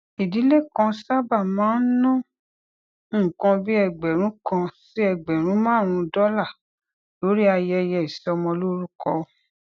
ìdílé kan sábà máa ń ná nǹkan bí ẹgbèrún kan sí ẹgbèrún márùnún dólà lórí ayẹyẹ ìsọmọlórúkọ